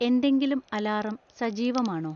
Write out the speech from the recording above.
എന്തെങ്കിലും അലാറം സജീവമാണോ